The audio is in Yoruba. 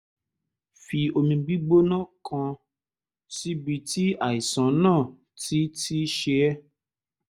fi omi gbígbóná kan síbi tí àìsàn náà ti ti ṣe é